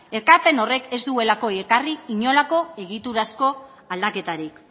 ekarpen horrek ez duelako ekarri inolako egiturazko aldaketarik